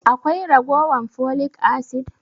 Akwai raguwan folic acid?